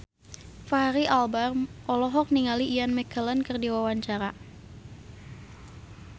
Fachri Albar olohok ningali Ian McKellen keur diwawancara